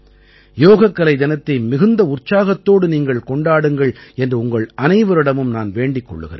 யோகக்கலை தினத்தை மிகுந்த உற்சாகத்தோடு நீங்கள் கொண்டாடுங்கள் என்று உங்கள் அனைவரிடமும் நான் வேண்டிக் கொள்கிறேன்